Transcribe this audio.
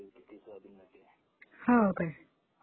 हो काय?